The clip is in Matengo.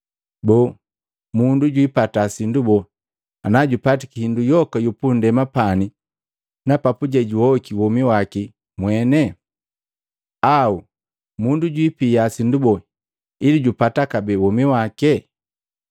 Boo, mundu jwiipata sindu boo ana jupatiki hindu yoka yu pundema pani na papuje juhoiki womi waki mwene? Au mundu jwipia sindu boo ili jupata kabee womi wake?